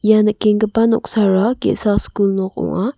ia nikenggipa noksara ge·sa skul nok ong·a.